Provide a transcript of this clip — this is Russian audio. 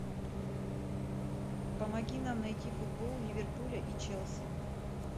помоги нам найти футбол ливерпуля и челси